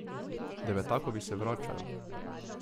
Devetakovi se vračajo.